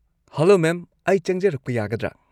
Hello ma'am, ꯑꯩ ꯆꯪꯖꯔꯛꯄ ꯌꯥꯒꯗ꯭ꯔꯥ?